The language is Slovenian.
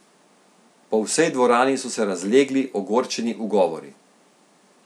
Po vsej dvorani so se razlegli ogorčeni ugovori.